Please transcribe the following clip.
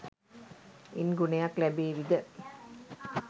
ඉන් ගුණයක් ලැබේවිද?